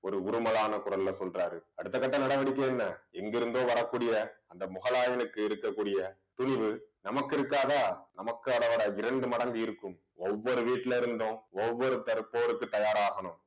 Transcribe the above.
ஒரு உறுமளான குரல்ல சொல்றாரு அடுத்த கட்ட நடவடிக்கை என்ன எங்கிருந்தோ வரக்கூடிய அந்த முகலாயனுக்கு இருக்கக்கூடிய துணிவு நமக்கு இருக்காதா இரண்டு மடங்கு இருக்கும் ஒவ்வொரு வீட்டுல இருந்தும் ஒவ்வொருத்தர் போருக்கு தயாராகணும்.